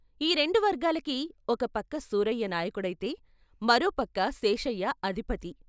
ఈ రెండు వర్గాలకి ఒక పక్క సూరయ్య నాయకుడైతే మరో పక్క శేషయ్య అధిపతి.